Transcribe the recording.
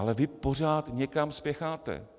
Ale vy pořád někam spěcháte.